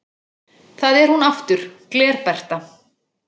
Það er hún aftur, Gler-Bertha